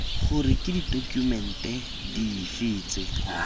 gore ke ditokumente dife tse